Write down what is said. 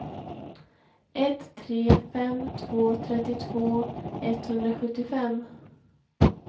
ett tre fem två trettiotvå etthundrasjuttiofem